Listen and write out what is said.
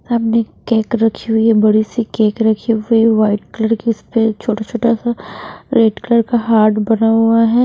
सामने केक रखी हुई है बड़ी सी केक रखी हुई व्हाइट कलर की उस पे छोटा छोटा सा रेड कलर का हार्ट बना हुआ है।